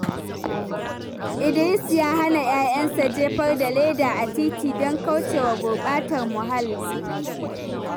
Idris ya hana 'ya'yansa jefar da leda a titi don kauce wa gurbatar muhalli.